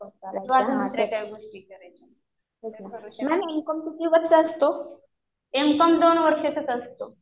किंवा अजून दुसरं काही गोष्टी करायच्यात. तसं करू शकते. एम कॉम दोन वर्षाचाच असतो.